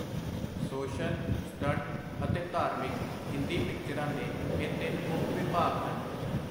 Social, stunt, ਅਤੇ ਧਾਰਮਿਕ - ਹਿੰਦੀ ਪਿਕਚਰਾਂ ਦੇ ਇਹ ਤਿੰਨ ਮੁਖ ਵਿਭਾਗ ਹਨ.